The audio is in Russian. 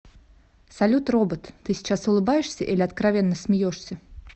салют робот ты сейчас улыбаешься или откровенно смеешься